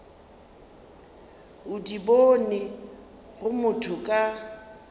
o di bonego motho ka